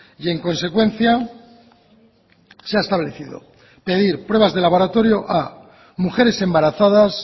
y en consecuencia se ha establecido pedir pruebas de laboratorio a mujeres embarazadas